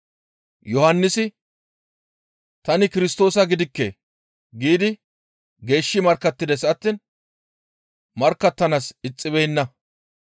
Yohannisi, «Tani Kirstoosa gidikke» giidi geeshshi markkattides attiin markkattanaas ixxibeenna.